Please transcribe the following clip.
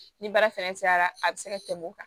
Ni baara fɛnɛ cayara a bɛ se ka tɛmɛ o kan